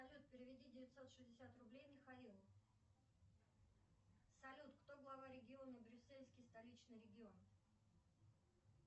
салют переведи девятьсот шестьдесят рублей михаилу салют кто глава региона брюссельский столичный регион